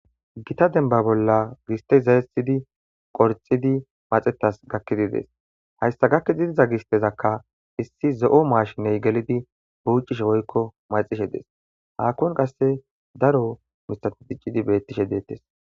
gita denba bolla gistes zayesidi qorxidi maxetas gakkidides hayssa gakki didiza gistezakka issi zo7o maashinney gelidi buuccishe woykko maxishe dees hakkon qasse daro misati diccidi beettishe deettes